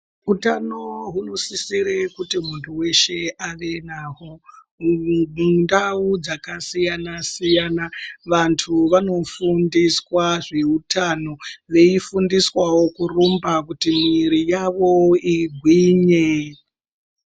Utano hunosisire kuti muntu weshe ave nahwo mundau dzakasiyana siyana vantu vanofundiswa zveutano veifundiswawo kurumba kuti mwiri yawo igwinye.